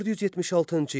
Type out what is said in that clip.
476-cı il.